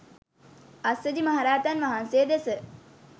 අස්සජි මහරහතන් වහන්සේ දෙස